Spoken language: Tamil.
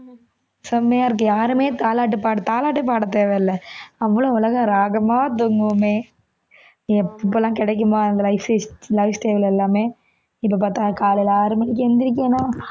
செமையா இருக்கு யாருமே தாலாட்டு பாட~ தாலாட்டு பாடத் தேவையில்ல அவ்வளவு அழகா ராகமா தூங்குவோமே இப்பெல்லாம் கிடைக்குமோ அந்த life st~ lifestyle எல்லாமே இப்ப பார்த்தா காலையில ஆறு மணிக்கு எந்திரிக்கணும்